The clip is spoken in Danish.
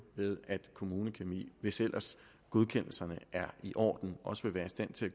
ved at kommunekemi hvis ellers godkendelserne er i orden også vil være i stand til